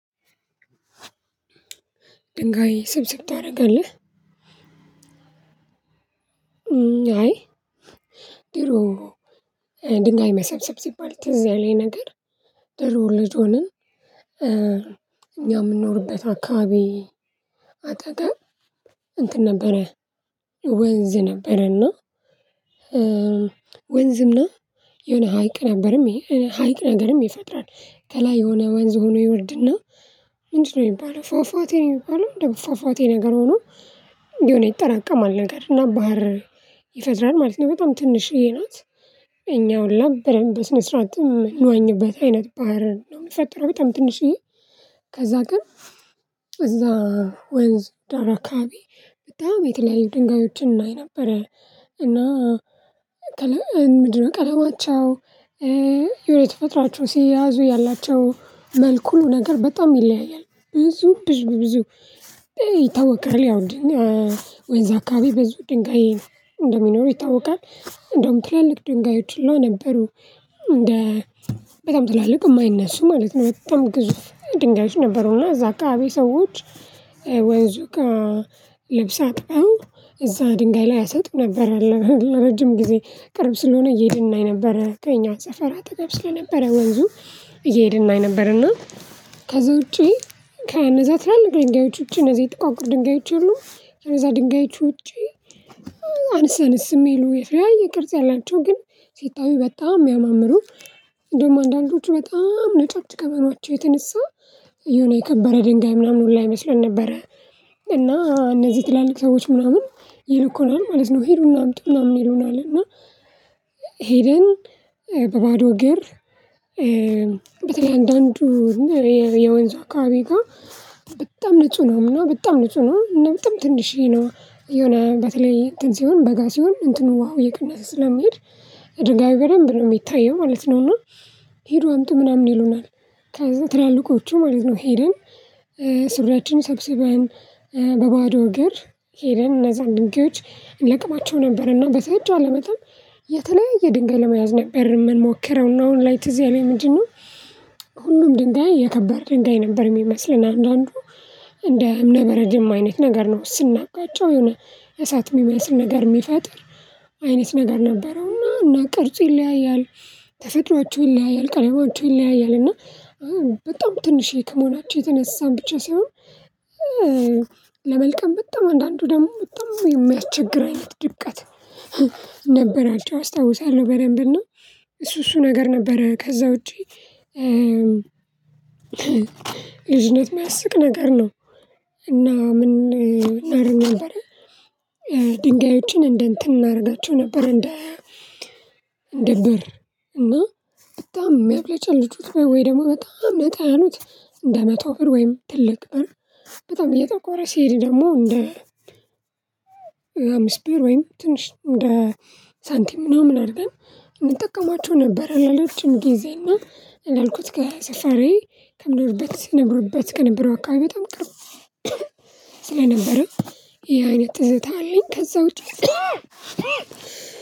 ድንጋይ ስብስብ ታደርጋለህ? አይ ድሮ ድንጋይ መሰብሰብ ሲባል ትዝ ያለኝ ነገር ድሮ ልጅ ሆነን እኛ የምንኖርበት አካባቢ አጠገብ እንትን ነበረ ወንዝ ነበረና ወንዝና የሆነ ሀይቅ ነበርም ሀይቅ ነገርም ይፈጥራል ከላይ የሆነ ወንዝ ሆኖ ይወርድና ምንድነው የሚባለው ፏፏቴ ነው የሚባለው እንደው ፏፏቴ ነገር ሆኖ የሆነ ይጠራቀማል ነገር እና ባህር ይፈጥራል ማለት ነው በጣም ትንሽዬ ናት እኛ ሁላ በደንብ በስነ ስርዓት የምንዋኝበት አይነት ባህር ነው የሚፈጥረው በጣም ትንሽዬ ከዛ ግን እዛ ወንዝ ዳር አካባቢ በጣም የተለያዩ ድንጋዮችን እናይ ነበረ እና ከለ ምንድነው ቀለማቸው የሆነ ተፈጥራቸው ሲያዙ ያላቸው መልኩ ሁሉ ነገር በጣም ይለያያል ብዙ ብዙ ብዙ ይታወቃል ያው ወንዝ አካባቢ ብዙ ድንጋይ እንደሚኖረው ይታወቃል እንደውም ትላልቅ ድንጋዮች ሁላ ነበሩ እንደ በጣም ትላልቅ የማይነሱ ማለት ነው በጣም ግዙፍ ድንጋዮች ነበሩና እዛ አካባቢ ሰዎች ወንዙ ጋር አጥብቀው እዛ ድንጋይ ላይ ያሰጡ ነበር ለረጅም ጊዜ ቅርብ ስለሆነ እየሄድን ነበር ከኛ ሰፈር ስለነበረ ወንዙ እየሄድን እናይ ነበር እና ከዛ ውጪ ከነዛ ትላልቅ ድንጋዮች ውጪ እነዚህ ጥቋቁር ድንጋዮች የሉም ከነዛ ድንጋዮች ውጪ አንስ አነስ የሚሉ የተለያየ ቅርጽ ያላቸው ግን ሲታዩ በጣም የሚያማምሩ እንደውም አንዳንዶቹ በጣም ነጫጭ ከመሆናቸው የተነሳ የሆነ የከበረ ድንጋይ ምናምን ሁላ ይመስሉን ነበረ እና እነዚህ ትላልቅ ሰዎች ምናምን ይልኩናል ማለት ነው ሂዱና አምጡና ምናምን ይሉናል እና ሄደን በባዶ እግር በተለይ አንዳንዱ የወንዙ አካባቢ ጋር በጣም ንጹህ ነው በጣም ንጹህ ነው እና በጣም ትንሽዬ ነው የሆነ በተለይ እንትን ሲሆን በጋ ሲሆን እንትኑ ውሃው እየቀነሰ ስለሚሄድ ድንጋዩ በደንብ ነው የሚታየው ማለት ነው እና ሄዱ አምጡ ምናምን ይሉናል ከዛ ትላልቆቹ ማለት ነው ሄደን ሱሪያችንን ሰብስበን በባዶ እግር ሄደን እነዛን ድንጋዮች እንለቅማቸው ነበርና በተቻለ መጠን የተለያየ ድንጋይ ለመያዝ ነበር የምንሞክረው ነው እና አሁን ላይ ትዝ ያለኝ ምንድነው ሁሉም ድንጋይ የከባድ ድንጋይ ነበር የሚመስለን አንዳንዱ እንደ እምነበረድም አይነት ነገር ነው ስናጋቃቸው የሆነ እሳት የሚመስል ነገር የሚፈጥር አይነት ነገር ነበረውና እና ቅርጽ ይለያያል ተፈጥሮአችሁን ይለያያል ቅለማቸው ይለያያል እና በጣም ትንሽዬ ከመሆናቸውም የተነሳን ብቻ ሳይሆን ለመልቀም በጣም አንዳንዱ ደግሞ በጣም የሚያስቸግር አይነት ድቀት ነበራቸው አስታውሳለሁ በደንብ እና እሱ እሱ ነገር ነበረ ከዛ ውጪ ልጅነት የሚያስቅ ነገር ነው እና ምን እናድርግ ነበር ድንጋዮችን እንደ እንትን እናደርጋቸው ነበር እንደ እንደ ብር እና በጣም የሚያብለጭልጩት ወይ ደግሞ በጣም ነጣ ያሉት እንደ መቶ ብር ወይም ትልቅ ብር በጣም እየጠቆረ ሲሄድ ደግሞ እንደ አምስት ብር ወይም ትንሽ እንደ ሳንቲም ምናምን አድርገን እንጠቀማቸው ነበር ለሌሎችም ጊዜና ለልኩት ጋር ስፈሬ ከምኖርበት ስኖርበት ከነበረው አካባቢው በጣም ቅርብ ስለነበረው ይሄ አይነት ትዝታ አለኝ ከዛ ውጪ